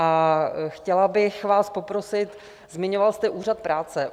A chtěla bych vás poprosit, zmiňoval jste úřad práce.